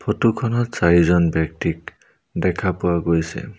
Photo খনত চাৰিজন ব্যক্তিক দেখা পোৱা গৈছে।